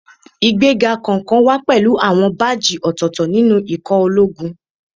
Ìgbéga kọ̀ọ̀kan wá pẹ̀lú àwọn báàjì ọ̀tọ̀ọ̀tọ̀ nínú ikọ̀ ológun